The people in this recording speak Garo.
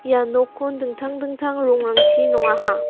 ia nokkon dingtang dingtang rongrangchi nongaha.